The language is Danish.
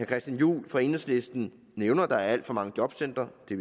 christian juhl fra enhedslisten nævner at der er alt for mange jobcentre det